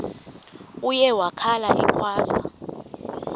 uye wakhala ekhwaza